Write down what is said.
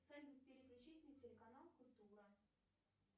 салют переключить на телеканал культура